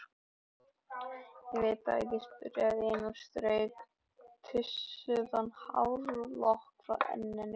Ég veit það ekki, svaraði Ína og strauk tússaðan hárlokk frá enninu.